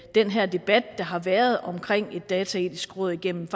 den her debat der har været omkring et dataetisk råd igennem